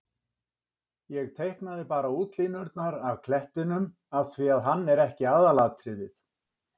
Ég teiknaði bara útlínurnar á klettinum af því að hann er ekki aðalatriðið.